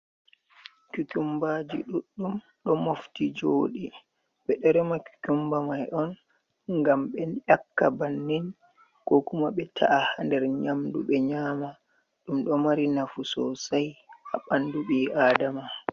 Kukumba ji ɗuɗɗum ɗo mofti joɗi, ɓe ɗo rema kukumba mai on ngam ɓe yakka bannin, ko kuma be ta’a nder nyamdu be nyama, ɗum ɗo mari nafu sosai ha ɓandu bii adama.